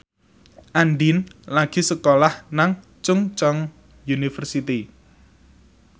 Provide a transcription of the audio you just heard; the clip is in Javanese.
Andien lagi sekolah nang Chungceong University